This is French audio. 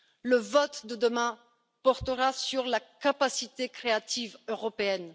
Le vote de demain portera sur la capacité créative européenne.